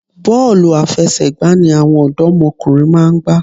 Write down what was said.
Bọ́ọ̀lù àfẹsẹ̀gbá ni àwọn òdọ́mọkùnrin máa ń gbá.